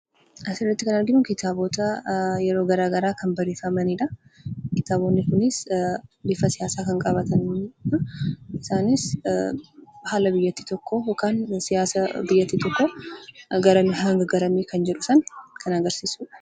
Asirratti kan arginu kitaabota yeroo garaagaraa kan barreeffamani dha. Kitaabonni kunis bifa siyaasaa kan qabaataniidha. Isaanis haala biyyattii tokkoo yookaan siyaasa biyyattii tokkoo garamii hanga garamii kan jedhu san agarsiisuu dha.